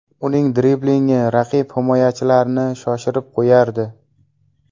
Uning driblingi raqib himoyachilarini shoshirib qo‘yardi.